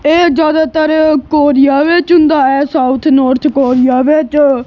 ਏਹ ਜਿਆਦਾਤਰ ਕੋਰੀਆ ਵਿੱਚ ਹੁੰਦਾ ਹੈ ਸਾਊਥ ਨੌਰਥ ਕੋਰੀਆ ਵਿੱਚ।